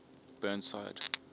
burnside